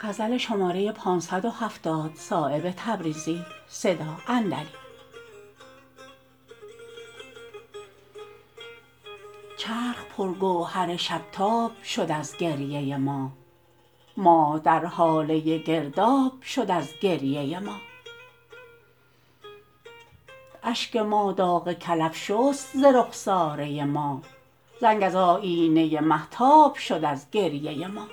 چرخ پر گوهر شب تاب شد از گریه ما ماه در هاله گرداب شد از گریه ما اشک ما داغ کلف شست ز رخساره ما زنگ از آیینه مهتاب شد از گریه ما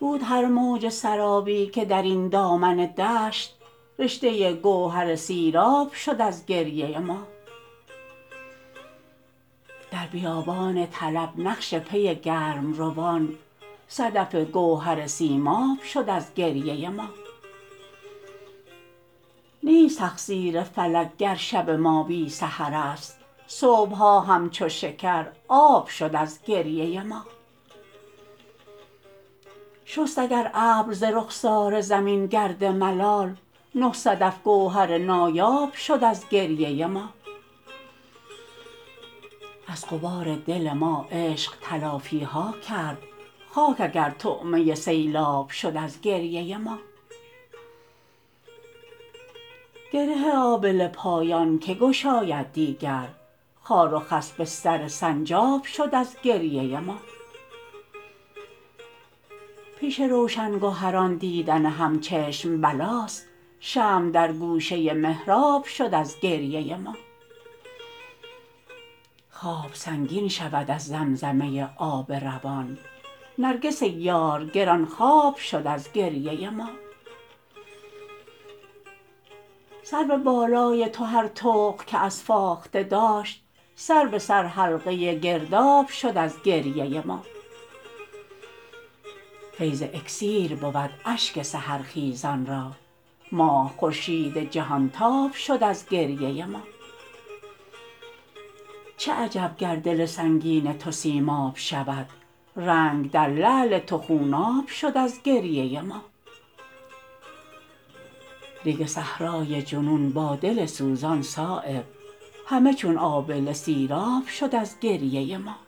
بود هر موج سرابی که درین دامن دشت رشته گوهر سیراب شد از گریه ما در بیابان طلب نقش پی گرمروان صدف گوهر سیماب شد از گریه ما نیست تقصیر فلک گر شب ما بی سحرست صبح ها همچو شکرآب شد از گریه ما شست اگر ابر ز رخسار زمین گرد ملال نه صدف گوهر نایاب شد از گریه ما از غبار دل ما عشق تلافی ها کرد خاک اگر طعمه سیلاب شد از گریه ما گره آبله پایان که گشاید دیگر خار و خس بستر سنجاب شد از گریه ما پیش روشن گهران دیدن همچشم بلاست شمع در گوشه محراب شد از گریه ما خواب سنگین شود از زمزمه آب روان نرگس یار گرانخواب شد از گریه ما سرو بالای تو هر طوق که از فاخته داشت سر به سر حلقه گرداب شد از گریه ما فیض اکسیر بود اشک سحرخیزان را ماه خورشید جهانتاب شد از گریه ما چه عجب گر دل سنگین تو سیماب شود رنگ در لعل تو خوناب شد از گریه ما ریگ صحرای جنون با دل سوزان صایب همه چون آبله سیراب شد از گریه ما